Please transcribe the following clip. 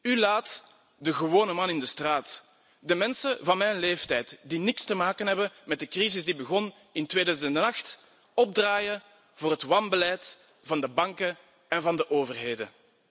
U laat de gewone man in de straat, de mensen van mijn leeftijd die niks te maken hebben met de crisis die begon in 2008, opdraaien voor het wanbeleid van de banken en van de overheden.